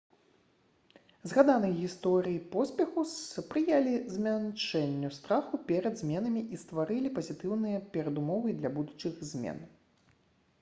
згаданыя гісторыі поспеху спрыялі змяншэнню страху перад зменамі і стваралі пазітыўныя перадумовы для будучых змен